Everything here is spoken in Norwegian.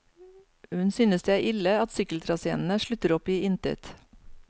Hun synes det er ille at sykkeltraséene slutter opp i intet.